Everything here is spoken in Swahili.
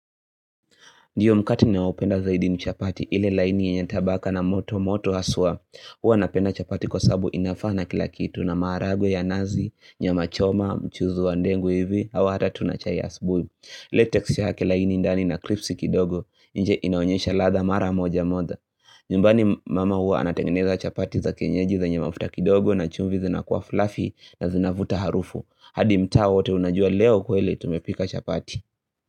Ndiyo mkate ninaopenda zaidi ni chapati ile laini yenye tabaka na moto moto haswa Huwa napenda chapati kwa sababu inafaa na kila kitu, na maharagwe ya nazi, nyama choma, mchuuzu wa ndengu hivi, au hata tu na chai asubuhi Latexi yake laini ndani na kripsi kidogo nje inaonyesha ladhaa mara moja moja nyumbani mama huwa anatengeneza chapati za kenyeji zenye mafuta kidogo na chumvi zinakuwa fluffy na zinafuta harufu hadi mtaa wote unajua leo kweli tumepika chapati.